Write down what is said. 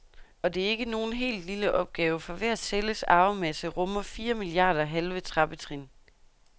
Og det er ikke nogen helt lille opgave, for hver celles arvemasse rummer fire milliarder halve trappetrin.